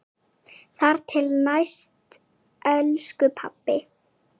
Þar til næst, elsku pabbi.